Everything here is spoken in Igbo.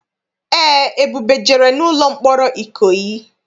Eé, Ebube jere n'ụlọ mkpọrọ Ikoyi.